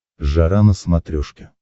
жара на смотрешке